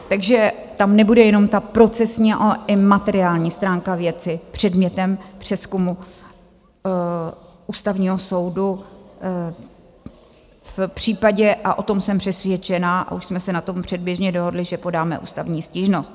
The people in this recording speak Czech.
Takže tam nebude jenom ta procesní, ale i materiální stránka věci předmětem přezkumu Ústavního soudu v případě, a o tom jsem přesvědčená, a už jsme se na tom předběžně dohodli, že podáme ústavní stížnost.